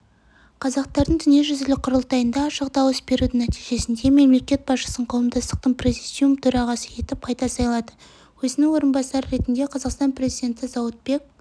қазақтардың дүниежүзілік құрылтайында ашық дауыс берудің нәтижесінде мемлекет басшысын қауымдастықтың президиум төрағасы етіп қайта сайлады өзінің орынбасары ретінде қазақстан президенті зауытбек